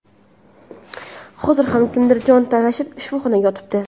hozir ham kimdir jon talashib shifoxonada yotibdi.